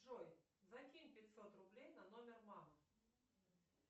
джой закинь пятьсот рублей на номер мамы